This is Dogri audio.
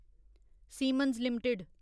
siemens limited